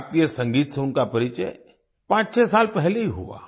भारतीय संगीत से उनका परिचय 56 साल पहले ही हुआ